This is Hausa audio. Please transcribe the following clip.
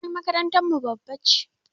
Gonar makarantar mu babba ne